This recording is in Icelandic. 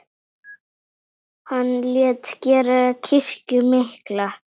Hann lét gera kirkju mikla.